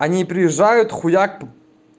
они приезжают хуяк